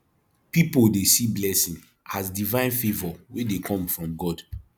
pipo dey see blessing as divine favour wey dey come from god